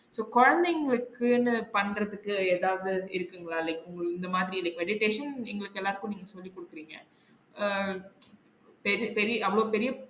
So கொழந்தைங்களுக்குன்னு பண்றதுக்கு எதாவது இருக்குங்களா? like இந்த மாதிரி meditation எங்களுக்கு எல்லாருக்கும் நீங்க சொல்லி குடுக்குறீங்க அஹ் பெரி~ பெரிய அவங்க பெரிய